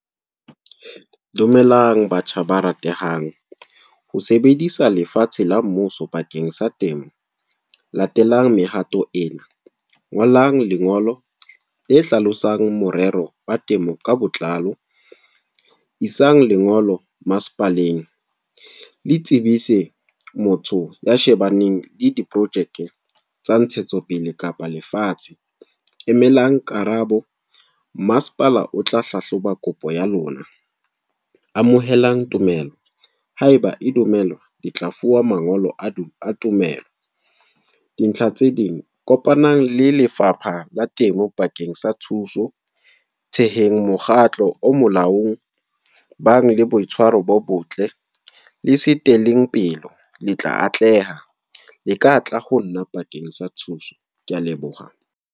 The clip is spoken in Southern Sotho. Dumelang batjha ba ratehang. Ho sebedisa lefatshe la mmuso, bakeng sa temo. Latelang mehato ena, ngolang lengolo le hlalosang morero wa temo ka botlalo. Isang lengolo masepaleng. Le tsebise motho ya shebaneng le diprojeke tsa ntshetsopele kapa lefatshe. Emelang karabo, masepala o tla hlahloba kopo ya lona. Amohelang tumelo, haeba e dumelwa letla fuwa mangolo a tumelo. Dintlha tse ding, kopanang le Lefapha la Temo bakeng sa thuso. Theheng mokgatlo o molaong. E bang le boitshwaro bo botle. Le se teleng pelo, le tla atleha. Le ka tla ho nna bakeng sa thuso. Ke a leboha.